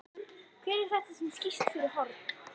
Hver er þetta sem skýst fyrir horn?